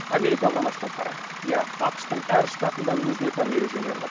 америка құрама штаттары иә ақш тың әр штатында өзіне тән ережелері бар